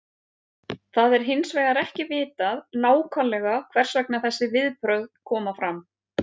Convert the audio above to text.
Það er hins vegar ekki vitað nákvæmlega hvers vegna þessi viðbrögð koma fram.